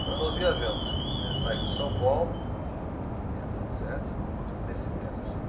Então nós viajamos, que é saímos de São Paulo, em setenta e sete, nesse tempo.